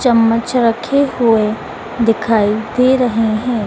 चम्मच रखे हुए दिखाई दे रहे हैं।